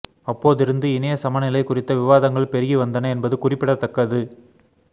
அப்போ திருந்து இணைய சமநிலை குறித்த விவாதங்கள் பெருகி வந்தன என்பது குறிப்பிடத்தக்கது